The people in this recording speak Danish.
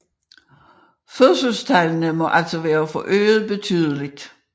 Fødselstallene må altså være forøget betydeligt